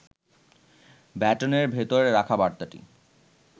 ব্যাটনের ভেতরে রাখা বার্তাটি